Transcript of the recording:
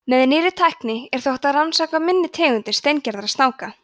með nýrri tækni er þó hægt að rannsaka minni tegundir steingerðra snáka